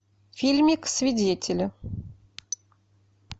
фильмик свидетели